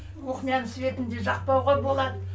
кухняның светін де жақпауға болады